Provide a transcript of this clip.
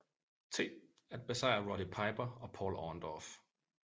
T at besejre Roddy Piper og Paul Orndorff